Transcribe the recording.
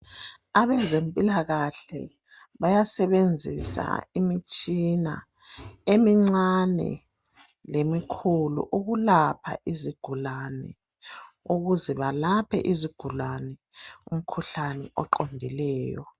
Abezempilakahle bayasebenzisa imitshina emincane lemikhulu ukulapha izigulane , ukuze balaphe izigulane umkhuhlane oqondileyo .